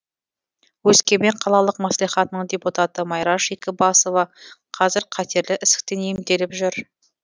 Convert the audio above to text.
өскемен қалалық мәслихатының депутаты майраш екібасова қазір қатерлі ісіктен емделіп жүр